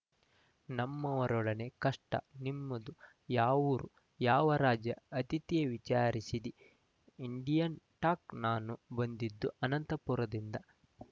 ನಮ್ಮವರೊಡನೆ ಕಷ್ಟ ನಿಮ್ದು ಯಾವೂರು ಯಾವ ರಾಜ್ಯ ಅತಿಥಿಯೆ ವಿಚಾರಿಸಿದ ಇಂಡಿಯನ್‌ ಟಾಕ್‌ ನಾನು ಬಂದಿದ್ದು ಆನಂತಪುರದಿಂದ